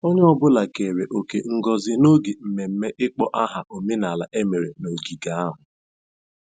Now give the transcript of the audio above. Onye ọ bụla keere òkè ngozi n'oge mmemme ịkpọ aha omenala emere n'ogige ahụ.